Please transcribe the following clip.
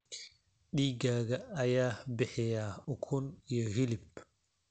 Digaagga ayaa bixiya ukun iyo hilib.